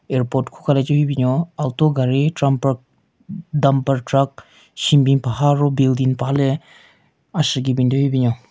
Airport khuka le cho hyu binyon auto gaari trumpert dumper truck shenbin paha ro building paha le ashyeki bin thyu hyu binyon.